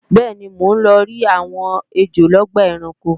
bẹ́ẹ̀ni, mò ń lọrí àwọn ejò lọ́gbà ẹranko